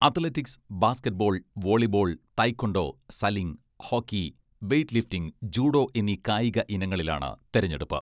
Athletics, basketball, volleyball, taekwondo, sailing, hockey, weightlifting, judo എന്നീ കായിക ഇനങ്ങളിലാണ് തെരഞ്ഞെടുപ്പ്.